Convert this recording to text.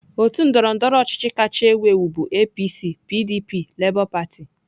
Otu ndọrọndọrọ ọchịchị kacha ewu ewu bụ APC, PDP, LABOR PARTY.